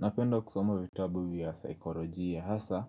Napenda kusoma vitabu ya saikolojia hasa